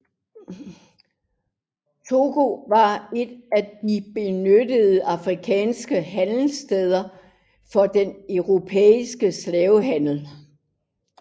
Togo var et af de benyttede afrikanske handelssteder for den europæiske slavehandel